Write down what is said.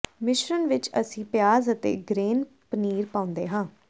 ਮਿਸ਼ਰਣ ਵਿਚ ਅਸੀਂ ਪਿਆਜ਼ ਅਤੇ ਗਰੇਨ ਪਨੀਰ ਪਾਉਂਦੇ ਹਾਂ